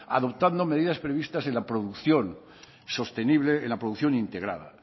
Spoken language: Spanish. adoptando medidas previstas en la producción sostenible en la producción integrada